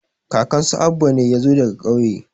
kakan su Abba ne ya zo daga ƙauye